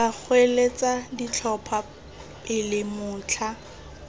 tla goeletsa ditlhopho pele motlha